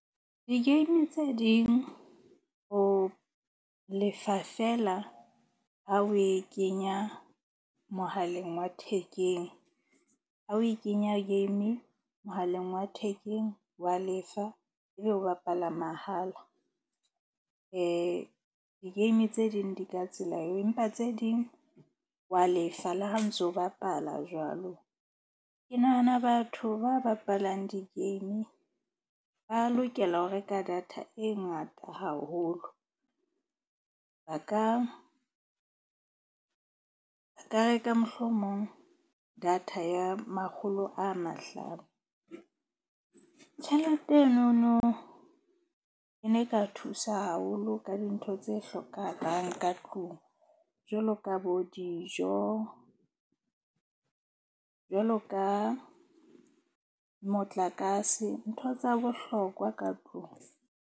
Di-game tse ding o lefa feela ha o e kenya mohaleng wa thekeng. Ha o e kenya game mohaleng wa thekeng wa lefa. Ebe wa bapala mahala. Di-game tse ding di ka tsela eo, empa tse ding wa lefa le ha o ntso bapala jwalo. Ke nahana batho ba bapalang di-game ba lokela ho reka data e ngata haholo. Ba ka reka mohlomong data ya makgolo a mahlano. Tjhelete enono e ne e ka thusa haholo ka dintho tse hlokahalang ka tlung, jwalo ka bo dijo jwalo ka motlakase. Ntho tsa bohlokwa ka tlung.